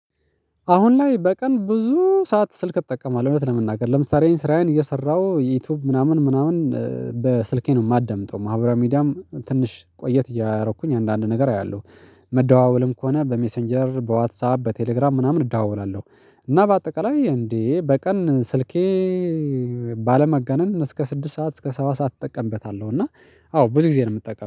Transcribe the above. አሁን ላይ በቀን ብዙ ሰዓት ስልክ እጠቀማለሁ እውነት ለመናገር ለምሳሌ እኔ ስራዬን እየሰራሁ ዩቲዩብ ምናምን ምናምን በስልኬ ነው የማደምጠው። ማህበራዊ ሚዲያም ትንሽ ቆየት እያደረኩኝ አንዳንድ ነገር አያለሁ። መደዋወልም ከሆነ በሜሴንጀር በዋትሳፒ በቴሌግራም ምናምን እደዋወላለሁ። እና በአጠቃላይ እንዴ በቀን ስልኬ ባለማጋነን እስከ ስድስት ሰዓት እስከ ሰባት ሰዓት እጠቀምበታለሁ። እና አዎ ብዙ ጊዜ ነው የምጠቀመው